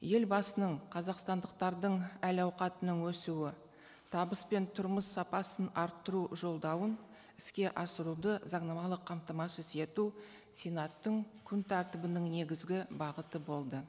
елбасының қазақстандықтардың әл ауқатының өсуі табыс пен тұрмыс сапасын арттыру жолдауын іске асыруды заңнамалық қамтамасыз ету сенаттың күн тәртібінің негізгі бағыты болды